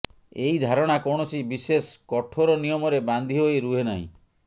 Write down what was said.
ଏଇ ଧାରଣା କୌଣସି ବିଶେଷ କଠୋର ନିୟମରେ ବାନ୍ଧି ହୋଇ ରୁହେ ନାହିଁ